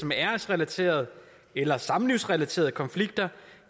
med æresrelaterede eller samlivsrelaterede konflikter